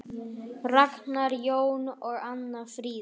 Ragnar Jón og Anna Fríða.